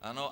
Ano?